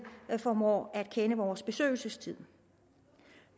formår at kende vores besøgelsestid